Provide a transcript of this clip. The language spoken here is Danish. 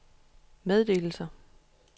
meddelelser